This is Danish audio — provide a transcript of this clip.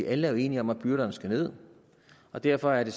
alle er jo enige om at byrderne skal ned og derfor er det